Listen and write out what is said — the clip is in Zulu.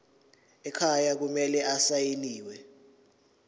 ekhaya kumele asayiniwe